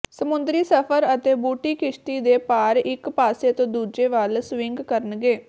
ਸਮੁੰਦਰੀ ਸਫ਼ਰ ਅਤੇ ਬੂਟੀ ਕਿਸ਼ਤੀ ਦੇ ਪਾਰ ਇਕ ਪਾਸੇ ਤੋਂ ਦੂਜੀ ਵੱਲ ਸਵਿੰਗ ਕਰਨਗੇ